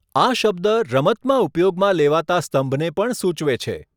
આ શબ્દ રમતમાં ઉપયોગમાં લેવાતા સ્તંભને પણ સૂચવે છે.